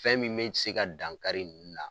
Fɛn min bɛ se ka dankari ninnu na